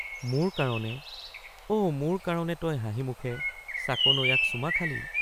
মোৰ কাৰণে অ মোৰ কাৰণে তই হাঁহি মুখে চাকনৈয়াক চুমা খালি!